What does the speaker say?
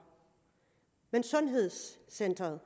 men sundhedscentret